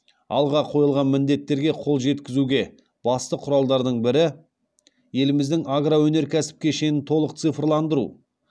алға қойылған міндеттерге қол жеткізуге басты құралдардың бірі еліміздің агроөнеркәсіп кешенін толық цифрландыру